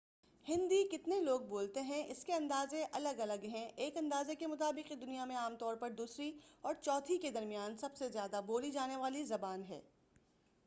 ہندی کتنے لوگ بولتے ہیں اس کے اندازے الگ الگ ہیں ایک اندازے کے مطابق یہ دنیا میں عام طور پر دوسری اور چوتھی کے درمیان سب سے زیادہ بولی جانے والی زبان ہے